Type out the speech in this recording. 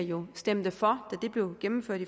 jo stemte for blev gennemført